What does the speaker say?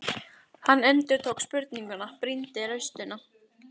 Hann endurtók spurninguna, brýndi raustina.